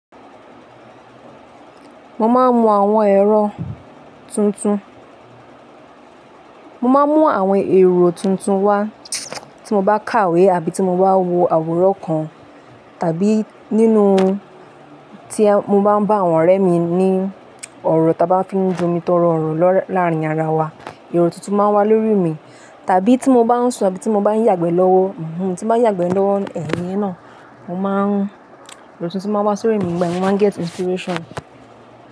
Mo máa ń mú àwọn èrò tuntun, mo máa ń mú àwọn èrò tuntun wá tí mo bá kàwé àbí tí mo bá wo àwòrán kan tàbí nínú tí mo bá ń bá àwọn ọ̀rẹ́ mi ní ọ̀rọ̀ táa bá fi ń jomi torí ọ̀rọ̀ láàárín ara wa, èrò tuntun máa wá lórí mi. Tàbí tí mo bá ń sọ, tí mo bá ń yàgbẹ́ lọ́wọ́, tí mo bá ń yàgbẹ́ lọ́wọ́ íyẹ náà, mo máa ń, èrò tuntun máa wá sórí mi, ìgbà yẹn mo máa ń gẹ́tì inspiration.